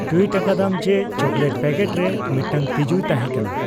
tweet ᱟᱠᱟᱫᱟᱢ ᱡᱮ chocolate packet ᱨᱮ ᱢᱤᱫᱴᱟᱝ ᱛᱤᱡᱩᱭ ᱛᱟᱦᱮᱸ ᱠᱟᱱᱟ